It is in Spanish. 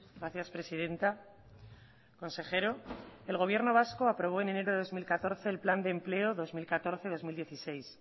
gracias presidenta consejero el gobierno vasco aprobó en enero del dos mil catorce el plan de empleo dos mil catorce dos mil dieciséis